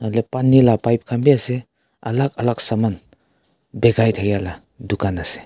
Pani laga pipe khan ase akag alag saman bekhai laga dukan ase.